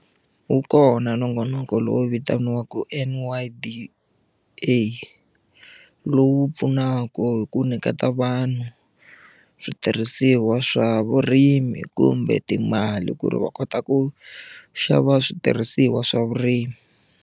Wu kona nongonoko lowu vitaniwaka N_Y_D_A lowu pfunaka hi ku nyiketa vanhu switirhisiwa swa vurimi kumbe timali ku ri va kota ku xava switirhisiwa swa vurimi.